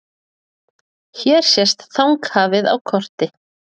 Hér sést Þanghafið á korti.